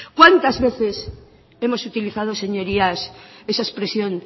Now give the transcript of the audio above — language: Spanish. cuántas veces hemos utilizado señorías esa expresión